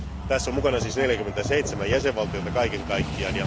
Tässä on mukana siis 47 jäsenvaltiota kaiken kaikkiaan.